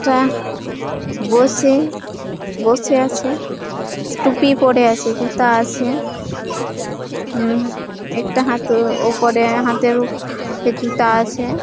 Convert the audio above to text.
টা বসে বসে আছে টুপি পরে আছে। জুতা আছে উম একটু হাতেও ওপরে হাতেও জুতা আছে।